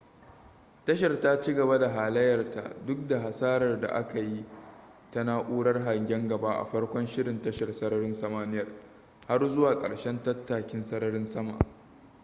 tashar ta cigaba da halayyarta duk da hasarar da aka yi ta na'urar hangen gaba a farkon shirin tashar sararin samaniyar har zuwa karshen tattakin sararin sama